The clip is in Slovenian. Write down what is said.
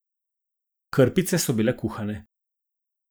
Krpice so bile kuhane.